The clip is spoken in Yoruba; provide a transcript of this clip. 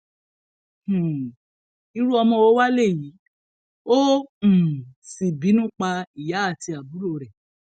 um irú ọmọ wo wàá léyìí ó um sì bínú pa ìyá àti àbúrò rẹ